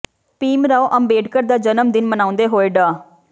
ਭੀਮ ਰਾਓ ਅੰਬੇਡਕਰ ਦਾ ਜਨਮ ਦਿਨ ਮਨਾਉਂਦੇ ਹੋਏ ਡਾ